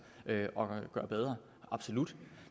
at gøre bedre absolut